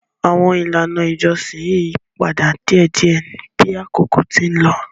Àwọn ilàná ìjọsìn ń yí padà díẹ̀díẹ̀ bí àkókò ti ń lọ.